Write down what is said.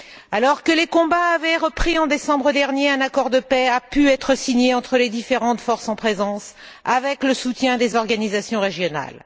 Alors que les combats avaient repris en décembre dernier, un accord de paix a pu être signé entre les différentes forces en présence, avec le soutien des organisations régionales.